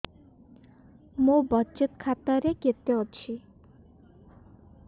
ମୋ ବଚତ ଖାତା ରେ କେତେ ଅଛି